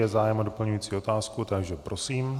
Je zájem o doplňující otázku, takže prosím.